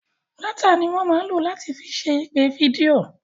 Dátà ni wọ́n máa ń lò láti fi ṣe ìpè fídíò.